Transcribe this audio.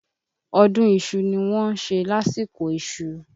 Ọdún iṣu ni wọ́n ń ṣe lásìkò iṣu.